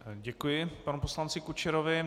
Děkuji panu poslanci Kučerovi.